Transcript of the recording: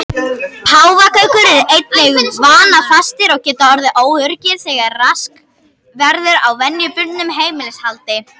Páfagaukar eru einnig vanafastir og geta orðið óöruggir þegar rask verður á venjubundnu heimilishaldi.